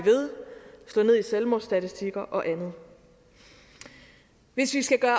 slå ned i selvmordsstatistikker og andet hvis vi skal gøre